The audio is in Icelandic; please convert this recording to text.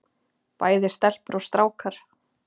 Bæði stelpur og strákar.